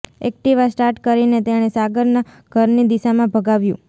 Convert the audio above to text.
Activa start કરીને તેણે સાગરનાં ઘરની દિશામાં ભગાવ્યું